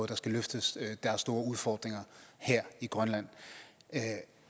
der skal løftes der er store udfordringer her i grønland